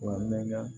Wa mɛ